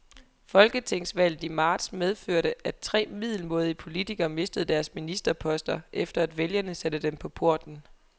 Folketingsvalget i marts medførte, at tre middelmådige politikere mistede deres ministerposter, efter at vælgerne satte dem på porten.